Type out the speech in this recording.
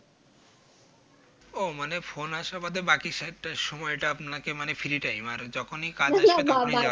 ও মানে Phone আসা বাদে বাকি সময়টা আপনাকে মানে Free time আর যখনই কাজ আসে